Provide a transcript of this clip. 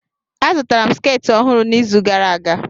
Azụtara m sketị ọhụrụ n'izu gara aga.